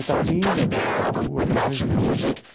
Itatinga, Botucatu, aquela região.